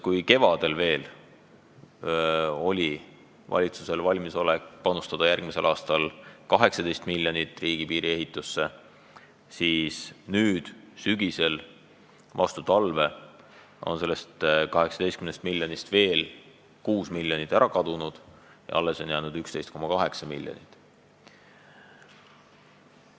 Kui kevadel veel oli valitsusel valmisolek panustada järgmisel aastal 18 miljonit riigipiiri ehitusse, siis nüüd sügisel, vastu talve on sellest 18 miljonist veel 6 miljonit ära kadunud, alles on jäänud 11,8 miljonit.